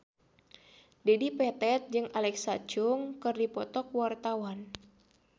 Dedi Petet jeung Alexa Chung keur dipoto ku wartawan